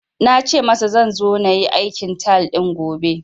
Na ce masa zan zo na yi aikin tile din gobe